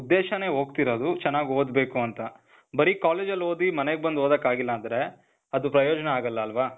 ಉದ್ದೇಶನೇ ಹೋಗ್ತಿರೋದು ಚನಾಗ್ ಓದ್ಬೇಕು ಅಂತ.ಬರೀ ಕಾಲೇಜಲ್ ಓದಿ ಮನೆಗ್ ಬಂದ್ ಓದಕ್ ಆಗಿಲ್ಲ ಅಂದ್ರೆ ಅದು ಪ್ರಯೋಜನ ಆಗಲ್ಲ ಅಲ್ವಾ?